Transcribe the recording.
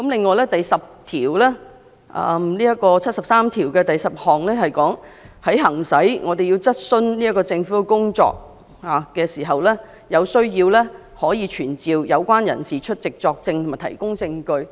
《基本法》第七十三條第十項表明，在行使質詢政府的職權時，如有需要，立法會可傳召有關人士出席作證和提供證據。